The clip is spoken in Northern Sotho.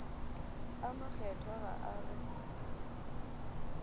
a makgethwa ga a re